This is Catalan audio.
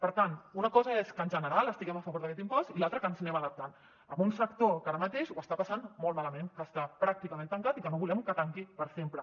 per tant una cosa és que en general estiguem en favor d’aquest impost i l’al tra que ens anem adaptant a un sector que ara mateix ho està passant molt mala ment que està pràcticament tancat i que no volem que tanqui per sempre